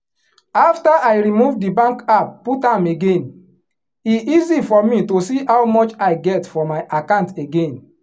after i remove the bank app put am again e easy for me to see how much i get for my account again.